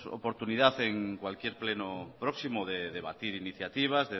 oportunidad en cualquier pleno próximo de debatir iniciativas